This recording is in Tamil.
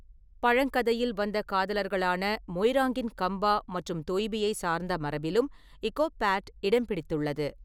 பழங்கதையில் வந்த காதலர்களான மொய்ராங்கின் கம்பா மற்றும் தொய்பியைச் சார்ந்த மரபிலும் இகோப் பாட் இடம்பிடித்துள்ளது.